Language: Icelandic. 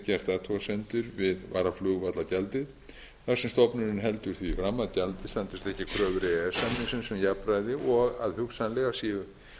gert athugasemdir við varaflugvallagjaldið þar sem stofnunin heldur því fram að gjaldið standist ekki kröfur e e s samningsins um jafnræði og að hugsanlega séu